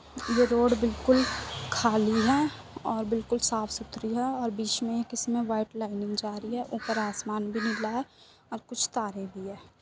ये रोड बिल्कुल खाली है और बिल्कुल साफ सुथरी है और बीच में इसमें वाइट लाइनिंग जा रही है। ऊपर असमान भी नीला है और कुछ तारे भी है।